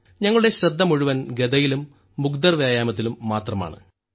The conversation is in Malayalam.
ഞങ്ങളുടെ ശ്രദ്ധ മുഴുവൻ ഗദയിലും മുഗ്ദർ വ്യായാമത്തിലും മാത്രമാണ്